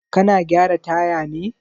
Kana gyara taya ne?